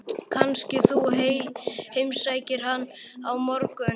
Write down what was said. Kannski þú heimsækir hann á morgun?